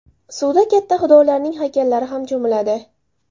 Suvda hatto xudolarining haykallari ham cho‘miladi.